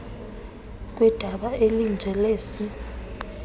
kwidabi elinje lesi